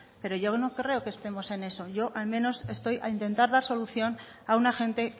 pero yo no creo que estemos en eso yo al menos estoy a intentar dar solución a una gente